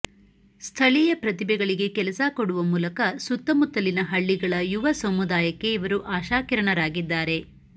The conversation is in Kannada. ಸ್ಥಳೀಯ ಪ್ರತಿಭೆಗಳಿಗೆ ಕೆಲಸ ಕೊಡುವ ಮೂಲಕ ಸುತ್ತಮುತ್ತಲಿನ ಹಳ್ಳಿಗಳ ಯುವ ಸಮುದಾಯಕ್ಕೆ ಇವರು ಆಶಾಕಿರಣರಾಗಿದ್ದಾರೆ